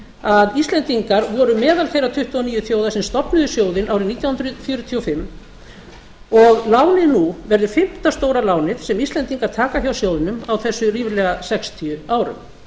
að íslendingar voru meðal þeirra tuttugu og níu þjóða sem stofnuðu sjóðinn árið nítján hundruð fjörutíu og fimm og lánið nú verður fimmta stóra lánið sem íslendingar taka hjá sjóðnum á þessum ríflega sextíu árum